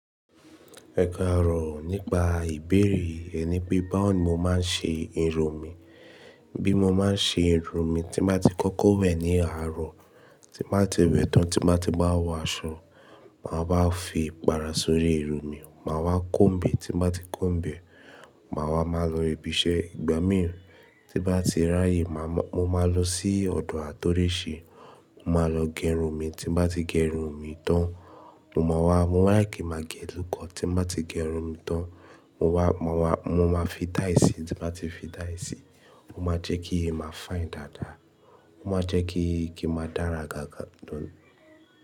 Ẹ kàárọ̀ nípa ìbéèrè yẹn ni pé báwo ni mo máa ń ṣe ẹrọ mi. Bí mo máa ń ṣe irun mi, tí bá ti kó kọ́ wẹ̀ ní àárọ̀, tí bá ti wẹ̀ tán tí bá ti bá wọ aṣọ, màá bá fi ìpàrà sórí irun mi. Màá wá comb e tí bá ti comb e, mà wá ma lọ ibi iṣẹ́. Ìgbà míì tí bá ti ráyè, mo máa lọ sí ọ̀dọ̀ àtọriṣe, mo máa lọ gé irun mi. Tí bá ti gé irun mi tán, mo máa wá, mo like kí màá gé e low cur. Tí bá ti gé irun mi tán, mo máa wá, mo máa fi dye. Tí bá ti fi dye sí, o máa jẹ́ kí irun mi máa fine dáadáa. Mo máa jẹ́ kí i kí i máa dára gágà nù.